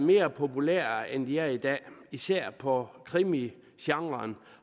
mere populære end de er i dag og især for krimigenren